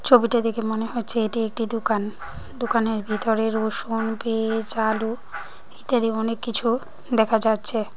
ছবিটা দেখে মনে হচ্ছে এটি একটি দুকান দুকানের ভিতরে রসুন পেজ আলু ইত্যাদি অনেক কিছু দেখা যাচ্ছে।